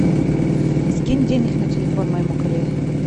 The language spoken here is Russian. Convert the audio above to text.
скинь денег на телефон моему коллеге